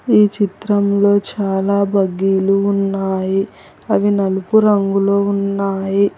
ఈ చిత్రంలో చాలా బగ్గీలు ఉన్నాయి అవి నలుపు రంగులో ఉన్నాయి.